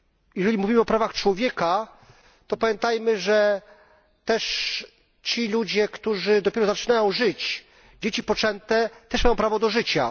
Jeżeli mówimy o prawach człowieka, to pamiętajmy, że też ci ludzie, którzy dopiero zaczynają żyć, dzieci poczęte, też mają prawo do życia.